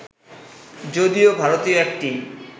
যদিও ভারতীয় একটি